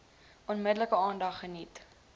onmiddellik aandag geniet